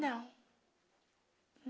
Não.